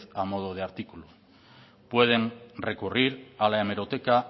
a modo de artículo pueden recurrir a la hemeroteca